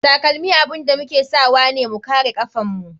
Takalmi abun da muke sawane mu kare kafan mu.